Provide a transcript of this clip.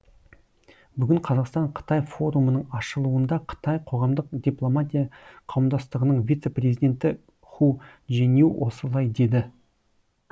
бүгін қазақстан қытай форумының ашылуында қытай қоғамдық дипломатия қауымдастығының вице президенті ху чжэнью осылай деді